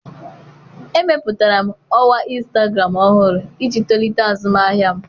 Emepụtara m ọwa Instagram ọhụrụ iji tolite azụmahịa m.